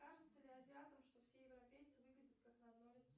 кажется ли азиатам что все европейцы выглядят как на одно лицо